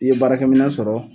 I ye baarakɛ minɛ sɔrɔ.